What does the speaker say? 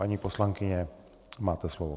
Paní poslankyně, máte slovo.